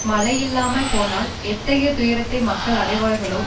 மழை இல்லாது போனால் எத்தகைய துயரத்தை மக்கள் அடைவார்களோ